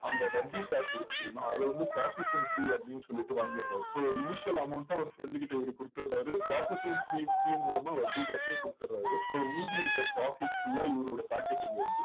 அந்த வட்டிக்காசு இருக்கு தெரியுமா? அதை வந்து processing fee அப்படின்னு சொல்லிட்டு வாங்கிடறாரு so initial amount அ அவர் friend கிட்ட இவரு கொடுத்துடுறாரு. processing fee fee மூலமா வட்டி காசையும் கொடுத்துடுறாரு. so மீதி இருக்கிற profit full ஆ இவரோட pocket க்கு வருது.